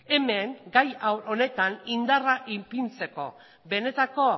hemen gai honetan indarra ipintzeko benetako